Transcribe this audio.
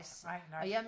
nej nej